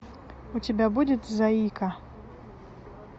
у тебя будет заика